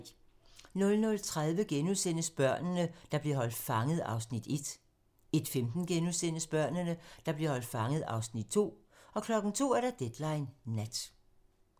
00:30: Børnene, der blev holdt fanget (Afs. 1)* 01:15: Børnene, der blev holdt fanget (Afs. 2)* 02:00: Deadline nat